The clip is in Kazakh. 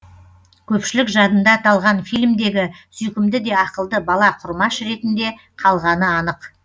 көпшілік жадында аталған фильмдегі сүйкімді де ақылды бала құрмаш ретінде қалғаны анық